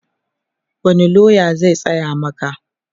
wani loya zai tsaya Maka?